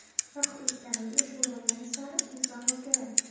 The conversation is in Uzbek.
Vaqt o‘tgani va yoshi ulg‘aygani sari inson o‘zgaradi.